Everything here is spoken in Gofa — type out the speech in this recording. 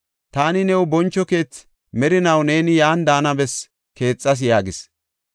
Taani new boncho keethi, merinaw neeni yan daana bessi keexas” yaagis.